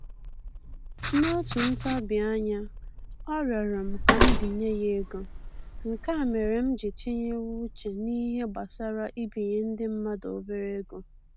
N'otu ntabianya, ọ rịọrọ m ka m binye ya ego, nke a mere m ji tinyewe uche n'ihe gbasara ibinye ndị mmadụ obere ego